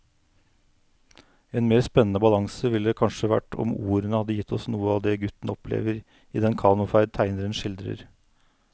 En mer spennende balanse ville det kanskje vært om ordene hadde gitt oss noe av det gutten opplever i den kanoferd tegneren skildrer.